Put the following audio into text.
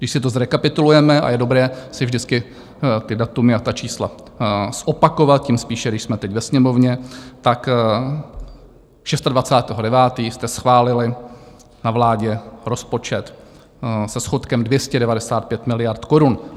Když si to zrekapitulujeme, a je dobré si vždycky ta data a ta čísla zopakovat tím spíše, když jsme teď ve Sněmovně, tak 26. 9. jste schválili na vládě rozpočet se schodkem 295 miliard korun.